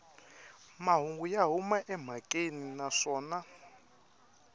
mahungu ya huma emhakeni naswona